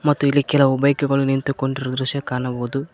ಮತ್ತು ಇಲ್ಲಿ ಕೆಲವು ಬೈಕ್ ಗಳು ನಿಂತುಕೊಂಡಿರುವ ದೃಶ್ಯ ಕಾಣಬಹುದು.